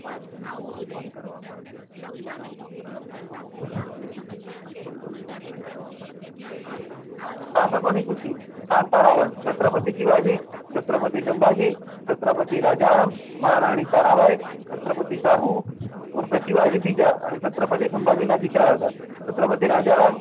શાસકો ની સૂચી કન્ટ્ર છત્રપતિ શિવાજી છત્રપતિ શામ્બાજી છત્રપતિ રાજારામ મહારાણી તારાબાઈ છત્રપતિ શાહુ ઉર્ફે શિવાજી બીજા અને છત્રપતિ શિવાજી ના દીકરા હતા છત્રપતિ રાજારામ